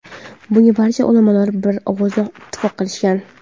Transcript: Bunga barcha ulamolar bir ovozdan ittifoq qilishgan.